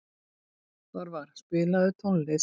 Þorvar, spilaðu tónlist.